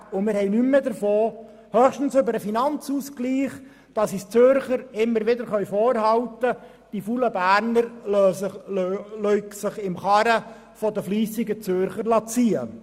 Dann haben wir nichts mehr davon beziehungsweise allenfalls über den Finanzausgleich, sodass uns die Zürcher höchstens vorhalten könnten, die faulen Berner liessen sich in der Karre der fleissigen Zürcher ziehen.